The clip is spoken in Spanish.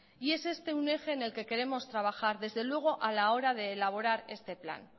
y es este un eje en el que queremos trabajar desde luego a la hora de elaborar este plan